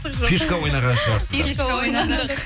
фишка ойнаған шығарсыздар фишка ойнадық